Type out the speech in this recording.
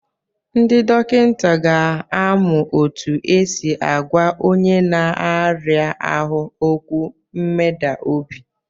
Ndị dọkịta ka amụ otu esi agwa onye n'aria ahụ okwu mmeda obi.